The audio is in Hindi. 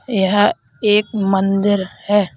यह एक मंदिर है।